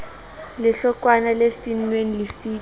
lehlokwana le finnweng lefito o